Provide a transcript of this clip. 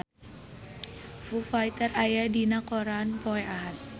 Foo Fighter aya dina koran poe Ahad